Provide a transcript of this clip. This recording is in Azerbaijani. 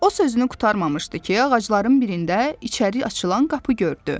O sözünü qurtarmamışdı ki, ağacların birində içəri açılan qapı gördü.